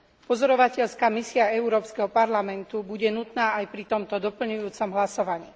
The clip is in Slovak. Pozorovateľská misia Európskeho parlamentu bude nutná aj pri tomto doplňujúcom hlasovaní.